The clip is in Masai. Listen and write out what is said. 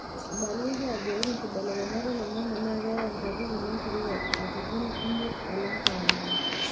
eibalieki ajo ore nkibelekenyat oliong'ang'e na keyau nkatitin enkirowuaj katitn imiet alang kawaida.